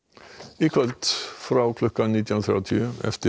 í kvöld frá klukkan nítján þrjátíu